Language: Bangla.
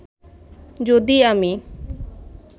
যদি আমি